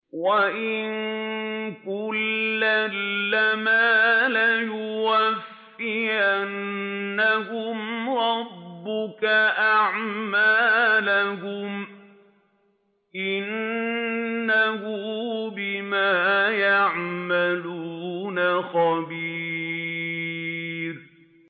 وَإِنَّ كُلًّا لَّمَّا لَيُوَفِّيَنَّهُمْ رَبُّكَ أَعْمَالَهُمْ ۚ إِنَّهُ بِمَا يَعْمَلُونَ خَبِيرٌ